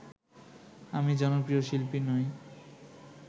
আমি জনপ্রিয় শিল্পী নই